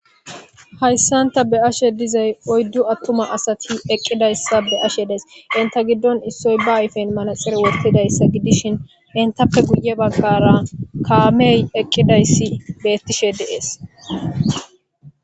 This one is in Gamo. hayssanta be ashe dizay oyddu attuma asati eqqidayssa be ashe dees inta giddon issoy ba ayfen manaxir wortidayssa gidishin intappe guye baggara kaamey eqqidayssi beettishe de'ees